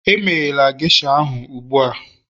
emeghela geisha ahụ ugbu a